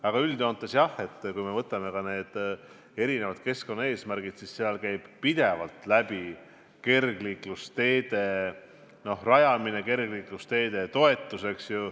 Aga üldjoontes, jah, kui me võtame erinevad keskkonnaeesmärgid, siis pidevalt on jutuks kergliiklusteede rajamine, kergliiklusteede toetus.